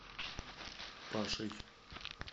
пашей